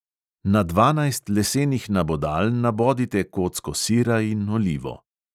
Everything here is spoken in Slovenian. Na dvanajst lesenih nabodal nabodite kocko sira in olivo.